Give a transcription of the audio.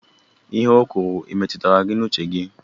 Ihe o kwuru e metụtara uche gị?